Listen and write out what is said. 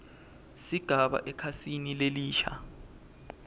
sigaba ekhasini lelisha